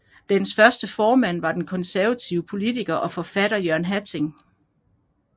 Dens første formand var den konservative poliitker og forfatter Jørgen Hatting